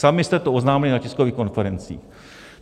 Sami jste to oznámili na tiskových konferencích.